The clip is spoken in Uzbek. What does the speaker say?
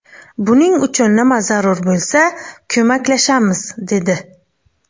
Buning uchun nima zarur bo‘lsa, ko‘maklashamiz, dedi.